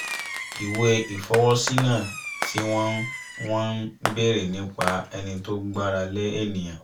ìwé ìfọwọ́sí náà tí wọ́n wọ́n ń bèrè nípa ẹni tó gbára lé ènìyàn